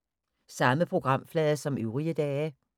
Samme programflade som øvrige dage